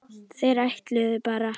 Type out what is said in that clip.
Þeir ætluðu bara